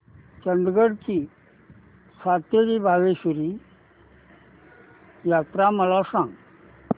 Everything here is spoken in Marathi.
चंदगड ची सातेरी भावेश्वरी यात्रा मला सांग